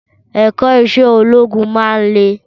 Ẹ̀kọ́ Iṣẹ́ ológun máa ń le